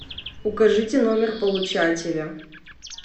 укажите номер получателя